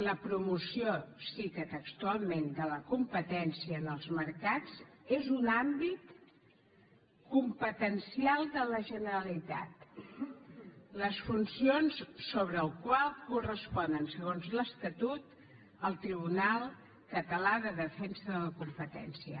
la promoció cita textualment de la competència en els mercats és un àmbit competencial de la generalitat les funcions sobre el qual corresponen segons l’estatut al tribunal català de defensa de la competència